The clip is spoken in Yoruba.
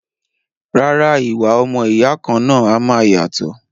Rárá, ìwà ọmọ ìyá kan náà a máa yàtọ̀